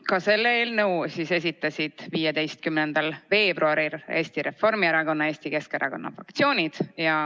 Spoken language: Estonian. Ka selle eelnõu esitasid 15. veebruaril Eesti Reformierakonna ja Eesti Keskerakonna fraktsioon.